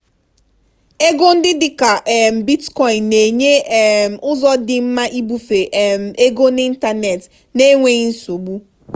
ego ndị dị ka um bitcoin na-enye um ụzọ dị mma ibufe um ego n'ịntanetị n'enweghị nsogbu.